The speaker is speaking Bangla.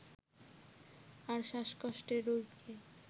আর শ্বাসকষ্টের রোগীকে